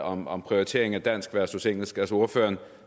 om om prioriteringen af dansk versus engelsk altså ordføreren